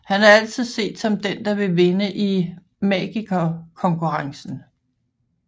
Han er altid set som den der vil vinde Magikerkonkurrencen